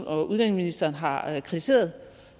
og udlændingeministeren har kritiseret